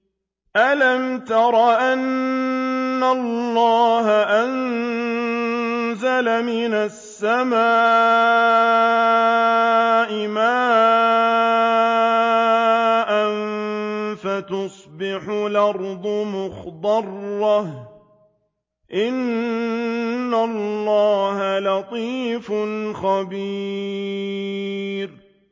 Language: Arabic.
أَلَمْ تَرَ أَنَّ اللَّهَ أَنزَلَ مِنَ السَّمَاءِ مَاءً فَتُصْبِحُ الْأَرْضُ مُخْضَرَّةً ۗ إِنَّ اللَّهَ لَطِيفٌ خَبِيرٌ